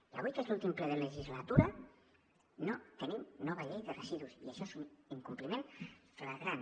i avui que és l’últim ple de la legislatura no tenim nova llei de residus i això és un incompliment flagrant